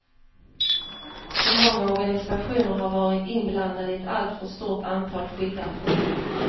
För många organisationer har varit inblandade i ett alltför stort antal skilda projekt.